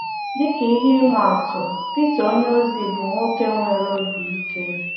Dị ka ihe ị ma-atụ, Pita onyeozi bụ nwoke nwere obi ike.